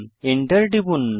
enter টিপুন